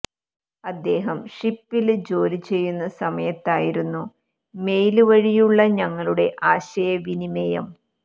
അദ്ദേഹം ഷിപ്പില് ജോലി ചെയ്യുന്ന സമയത്തായിരുന്നു മെയില് വഴിയിലുള്ള ഞങ്ങളുടെ ആശയ വിനിമിയം